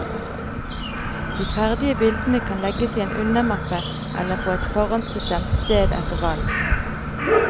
De ferdige bildene kan legges i en undermappe eller på et forhåndsbestemt sted etter valg.